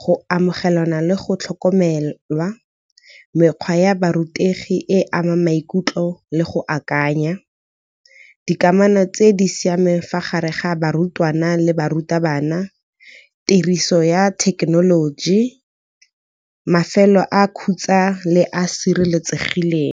go amogelana le go tlhokomelwa, mekgwa ya borutegi e amang maikutlo le go akanya. Dikamano tse di siameng fa gare ga barutwana le barutabana, tiriso ya thekenoloji, mafelo a khutsa le a sireletsegileng.